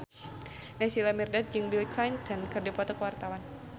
Naysila Mirdad jeung Bill Clinton keur dipoto ku wartawan